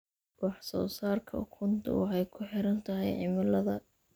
Wax soo saarka ukunta waxay ku xiran tahay cimilada.